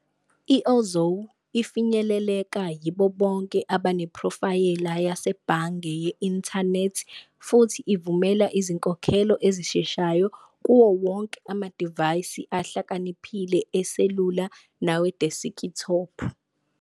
I-Ozow ifinyeleleka yibo bonke abanephrofayela yasebhange ye-inthanethi futhi ivumela izinkokhelo ezisheshayo kuwo wonke amadivayisi ahlakaniphile eselula nawedeskithophu.